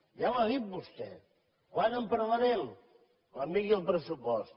ja ho ha dit vostè quan en parlarem quan vingui el pressupost